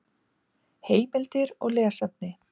Heimildir og lesefni